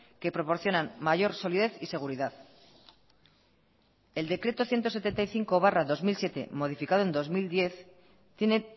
que proporcionan mayor solidez y seguridad el decreto ciento setenta y cinco barra dos mil siete modificado en dos mil diez tiene